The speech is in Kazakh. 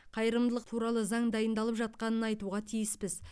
қайырымдылық туралы заң дайындалып жатқанын айтуға тиіспіз